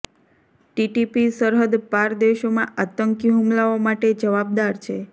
TTP સરહદ પાર દેશોમાં આતંકી હુમલાઓ માટે જવાબદાર છે